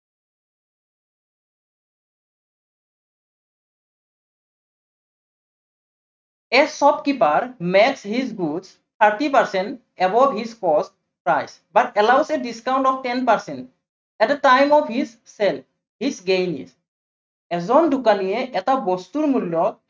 A shopkeeper made his goods thirty percent above his costs, but allowed the discount of ten percent, At a time of his sale, he gain it এজন দোকানীয়ে এটা বস্তুৰ মূল্য়